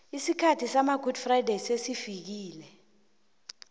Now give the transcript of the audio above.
isikhathi samagudi frayideyi sesifikile